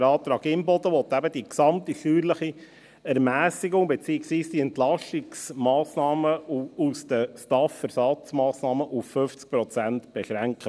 Der Antrag Imboden will eben die gesamte steuerliche Ermässigung, beziehungsweise die Entlastungsmassnahmen aus den STAF-Ersatzmassnahmen auf 50 Prozent beschränken.